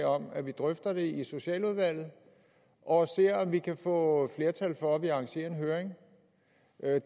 om at vi drøfter det i socialudvalget og ser om vi kan få flertal for at vi arrangerer en høring